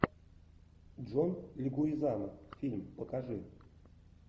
джон легуизамо фильм покажи